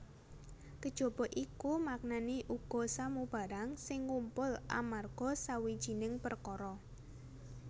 Kejaba iku maknané uga samubarang sing ngumpul amarga sawijining perkara